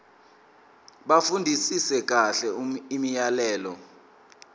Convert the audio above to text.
bafundisise kahle imiyalelo